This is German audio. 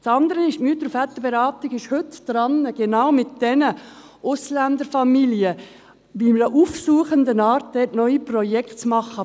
Das andere ist: Die Mütter- und Väterberatung ist heute daran, genau mit diesen Ausländerfamilien in einer aufsuchenden Art neue Projekte zu machen.